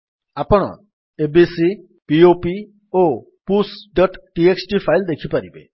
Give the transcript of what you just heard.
ଆପଣ ABC pop ଓ pushଟିଏକ୍ସଟି ଫାଇଲ୍ ଦେଖିପାରିବେ